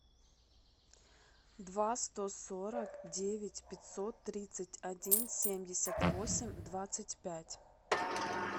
два сто сорок девять пятьсот тридцать один семьдесят восемь двадцать пять